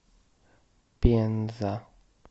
пенза